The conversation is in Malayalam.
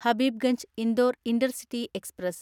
Habibganj Indore intercity express